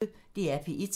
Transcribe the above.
DR P1